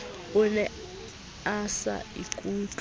o ne a sa ikutlwe